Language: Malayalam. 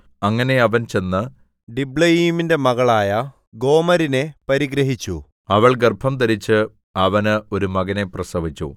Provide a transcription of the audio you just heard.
അങ്ങനെ അവൻ ചെന്ന് ദിബ്ലയീമിന്റെ മകളായ ഗോമരിനെ പരിഗ്രഹിച്ചു അവൾ ഗർഭംധരിച്ച് അവന് ഒരു മകനെ പ്രസവിച്ചു